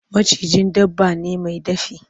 Maciji dabba ne mai dafi.